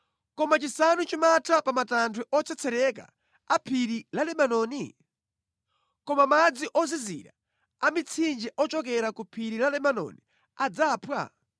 Kodi chisanu chimatha pa matanthwe otsetsereka a phiri la Lebanoni? Kodi madzi ozizira amitsinje ochokera ku phiri la Lebanoni adzamphwa?